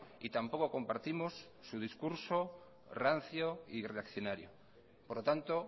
y tampoco compartimos su discurso rancio y reaccionario por lo tanto